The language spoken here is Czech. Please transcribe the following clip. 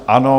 Ano.